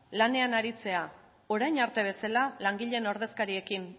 lanean aritzea orain arte bezala langileen ordezkariekin